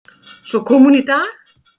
Svo kom hún í dag.